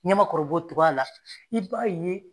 Ɲamakɔrɔ b'o togoya la i b'a ye